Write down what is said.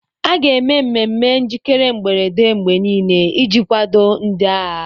A ga-eme mmemme njikere mberede mgbe niile iji kwado ndị agha.